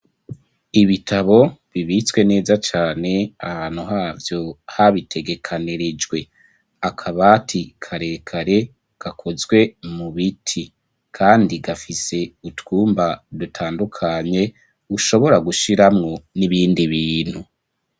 Ibitabo bibitswe neza cane ahantu havyo habitegekanirejwe akabati karekare gakozwe mu biti kandi gafise utwumba dutandukanye ushobora gushiramwo n'ibindi bintu.